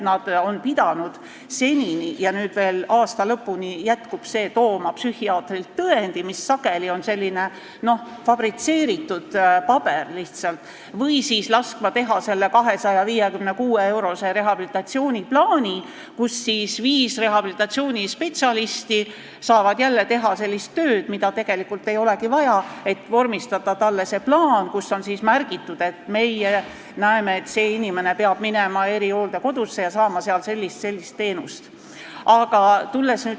Nad on pidanud senini – veel aasta lõpuni see jätkub – tooma psühhiaatrilt tõendi, mis sageli on lihtsalt selline fabritseeritud paber, või laskma teha selle 256-eurose rehabilitatsiooniplaani, nii et viis rehabilitatsioonispetsialisti saaksid jälle teha sellist tööd, mida tegelikult ei olegi vaja, et vormistada see plaan, kus on märgitud, et meie näeme, et see inimene peab minema erihooldekodusse ja saama seal sellist või sellist teenust.